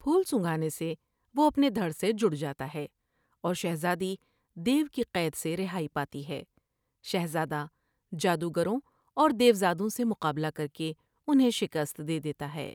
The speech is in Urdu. پھول سنگھانے سے وہ اپنے دھر سے جڑ جاتا ہے اور شہزادی دیو کی قید سے رہائی پاتی ہے ۔شہزادہ جادوگروں اور دیوزادوں سے مقابلہ کر کے انھیں شکست دے دیتا ہے ۔